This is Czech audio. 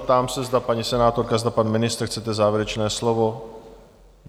Ptám se, zda paní senátorka, zda pan ministr chcete závěrečné slovo?